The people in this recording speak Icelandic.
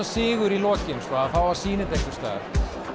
sigur í lokin að fá að sýna þetta einhvers staðar reiftíska